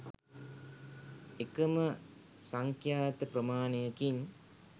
එකම සංඛ්‍යාත ප්‍රමාණයකින්